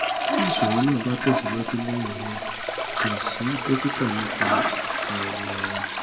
ti iṣoro naa ba tẹsiwaju lẹhinna kan si dokita nipa awọ ara